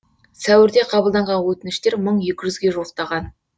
сәуірде қабылданған өтініштер мың екі жүзге жуықтаған